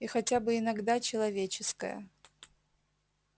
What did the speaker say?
и хотя бы иногда человеческая